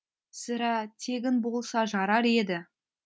сірә тегін болса жарар еді